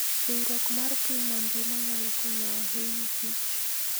Riwruok mar piny mangima nyalo konyo ahinya kich.